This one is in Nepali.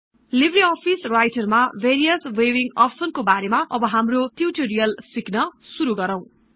लिब्रअफिस् राइटर् मा भेरियस् भिउविङ्ग अप्सन्स् को बारेमा अब हाम्रो ट्युटोरियल् सिक्न शुरु गरौँ